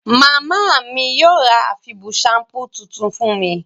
Màmá mí yio ra àfibù shampoo tuntun fún mi